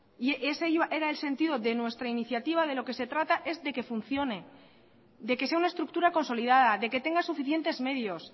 ese era el sentido de nuestra iniciativa es de que funcione de que sea una estructura consolidada de que tenga suficientes medios